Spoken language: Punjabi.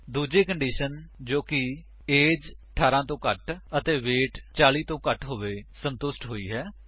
ਦੂਜੀ ਕੰਡੀਸ਼ਨ ਜੋ ਕਿ ਏਜ 18 ਤੋਂ ਘੱਟ ਅਤੇ ਵੇਟ 40 ਤੋਂ ਘੱਟ ਹੋਵੇ ਸੰਤੁਸ਼ਟ ਹੋਈ ਹੈ